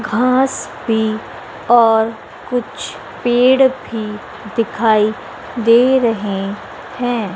घास भी और कुछ पेड़ भी दिखाई दे रहे हैं।